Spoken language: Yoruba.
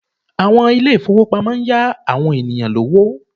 Àwọn ilé ìfowópamọ́ ń yá àwọn ènìyàn lówó